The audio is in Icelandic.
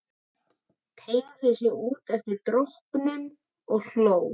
Teygði sig út eftir dropunum og hló.